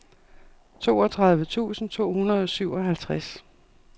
toogtredive tusind to hundrede og syvoghalvtreds